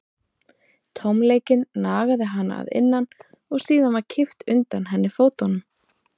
Tómleikinn nagaði hana að innan og síðan var kippt undan henni fótunum.